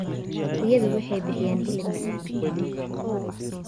Riyadu waxay bixiyaan hilib macaan.